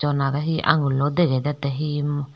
donare hi aagunglo degey dettey hi.